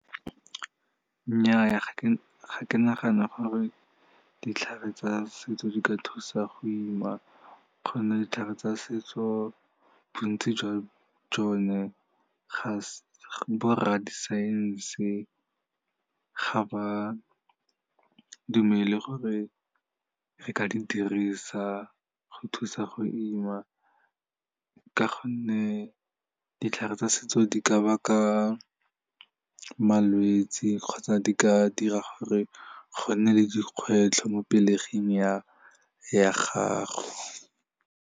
Nnyaa, ga ke nagana gore ditlhare tsa setso di ka thusa go ima, gonne ditlhare tsa setso bontsi jwa tsone borradisaense ga ba dumele gore re ka di dirisa go thusa go ima, ka gonne ditlhare tsa setso di ka baka malwetse kgotsa di ka dira gore go nne le dikgwetlho mo peleging ya gago.